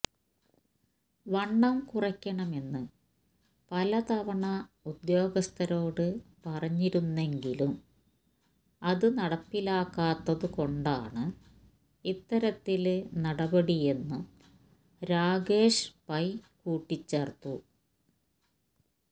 വണ്ണം കുറയ്ക്കണമെന്ന് പലതവണ ഉദ്യോഗസ്ഥരോട് പറഞ്ഞിരുന്നെങ്കിലും അത് നടപ്പിലാക്കാത്തതു കൊണ്ടാണ് ഇത്തരത്തില് നടപടിയെന്നും രാകേഷ് പൈ കൂട്ടിച്ചേര്ത്തു